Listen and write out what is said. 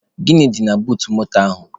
Gịnị dị na buut moto ahụ?